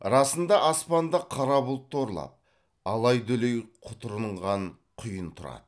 расында аспанды қара бұлт торлап алай дүлей құтырынған құйын тұрады